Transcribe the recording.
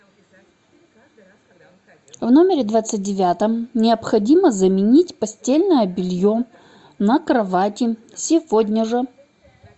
в номере двадцать девятом необходимо заменить постельное белье на кровати сегодня же